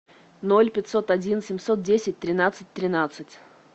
ноль пятьсот один семьсот десять тринадцать тринадцать